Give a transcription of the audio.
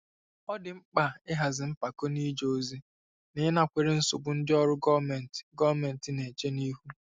Ọ dị mkpa ịhazi mpako n'ije ozi na ịnakwere nsogbu ndị ọrụ gọọmentị gọọmentị na-eche ihu.